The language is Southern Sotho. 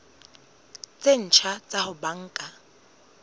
tse ntjha tsa ho banka